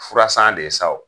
Fura san de ye sa wo.